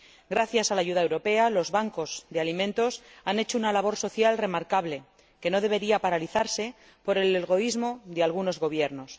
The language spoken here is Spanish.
Gracias a la ayuda europea, los bancos de alimentos han hecho una labor social digna de mención que no debería paralizarse por el egoísmo de algunos gobiernos.